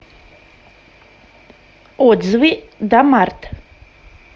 отзывы домарт